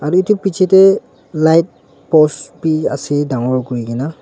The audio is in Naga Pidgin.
Aro etu bechidae light post bhi ase dangor kurikena.